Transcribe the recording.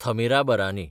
Thamirabarani